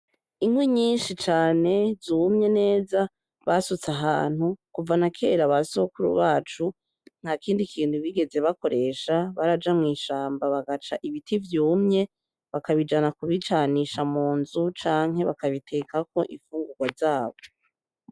Inkwi nyishi cane zumye neza basutse ahantu, kuva nakera basogokuru bacu ntakindi kintu bigeze bakoresha baraja mwishamba bagaca ibiti vyumye bakabijana kubicanisha munzu canke bakabitekako infungurwa zabo.